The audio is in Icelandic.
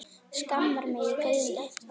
Skammar mig í gríni.